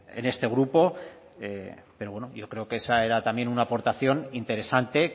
en este grupo pero bueno yo creo que esa era también una aportación interesante